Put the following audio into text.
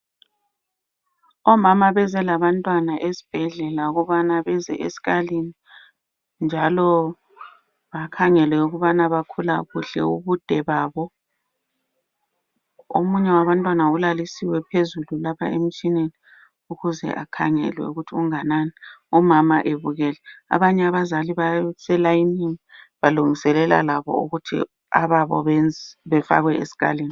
Omama beze labantwana esibhedlela ukubana beze esikalini njalo bakhangelwe ukubana bakhula kuhle ubude babo. Omunye wabantwana ulalisiwe phezulu lapha emtshineni ukuze ekhangelwe ukuthi unganani umama ebukele. Abanye abazali baselayinini balungiselela labo ukuthi ababo befakwe esikalini.